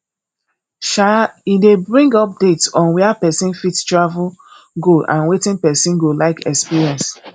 um e de bring updates on where persin fit travel go and wetin persin go like experience